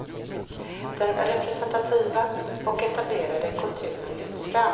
Den representativa och etablerade kulturen lyfts fram.